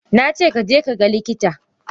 Nace kaje kaga likita!